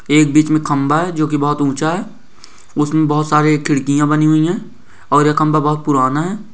एक बीच में खंबा है जो की बहुत ऊंचा है उसमें बहुत सारी खिड़कियां बनी हुई है और यह खंबा बहुत पुराना है।